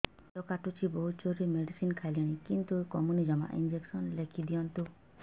ପେଟ କାଟୁଛି ବହୁତ ଜୋରରେ ମେଡିସିନ ଖାଇଲିଣି କିନ୍ତୁ କମୁନି ଜମା ଇଂଜେକସନ ଲେଖିଦିଅନ୍ତୁ